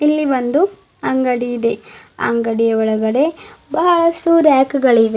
ಇಲ್ಲಿ ಒಂದು ಅಂಗಡಿ ಇದೆ ಅಂಗಡಿಯ ಒಳಗಡೆ ಬಹಳಷ್ಟು ರ್ಯಾಕುಗಳಿವೆ.